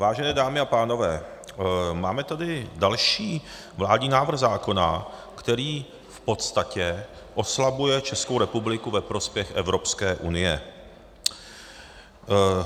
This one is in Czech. Vážené dámy a pánové, máme tady další vládní návrh zákona, který v podstatě oslabuje Českou republiku ve prospěch Evropské unie.